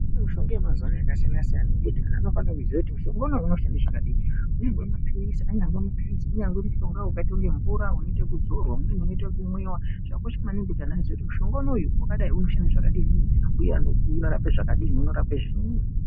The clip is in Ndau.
Mishonga yemazuva ano yakasiyana-siyana yekuti anhu anofane kuziva kuti mushonga uyu unoshande zvakadini. Anyangove maphilizi, anyangove maphilizi unyangove mushonga wakaite kunge mvura unoite ekudzorwa. Umweni unoite ekumwiwa. Zvakakosha maningi kuti antu aziye kuti mushonga unoyu wakadai unoshande zvakadini uye unorape zvakadinin unorape zviinyi.